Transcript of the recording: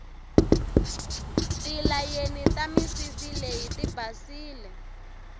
tilayeni ta misisi leyi tibasile